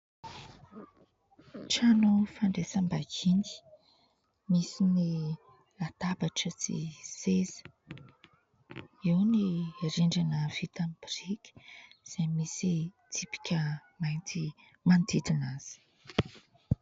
Trano ny fandraisam-bahiny misy ny latabatra sy seza, eo ny rindrina vita amin'ny boriky izay misy tsipika mainty manodidina azy.